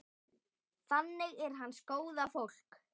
Þannig er hans góða fólk.